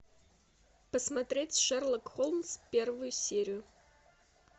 посмотреть шерлок холмс первую серию